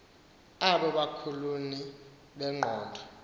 obo bulukhuni bengqondo